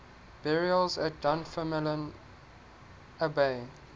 burials at dunfermline abbey